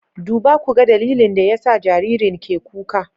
Duba ku ga dalilin da yasa jaririn ke kuka